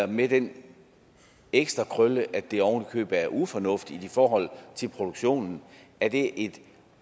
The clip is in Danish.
med den ekstra krølle at det oven i købet er ufornuftigt i forhold til produktionen er det et